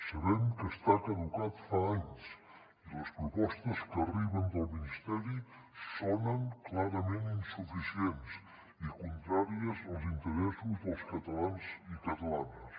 sabem que està caducat fa anys i les propostes que arriben del ministeri sonen clarament insuficients i contràries als interessos dels catalans i catalanes